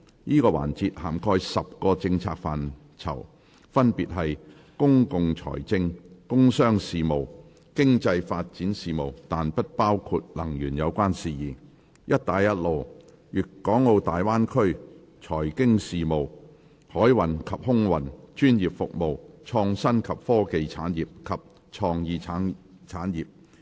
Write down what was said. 這個環節涵蓋10個政策範疇，分別是：公共財政；工商事務；經濟發展事務，但不包括能源有關事宜；"一帶一路"；粵港澳大灣區；財經事務；海運及空運；專業服務；創新及科技產業；及創意產業。